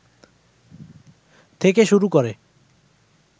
থেকে শুরু করে